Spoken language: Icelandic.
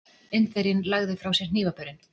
Indverjinn lagði frá sér hnífapörin.